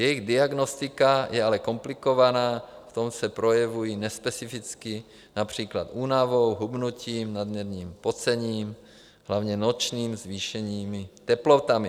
Jejich diagnostika je ale komplikovaná, v tom se projevují nespecificky, například únavou, hubnutím, nadměrným pocením, hlavně nočním, zvýšenými teplotami.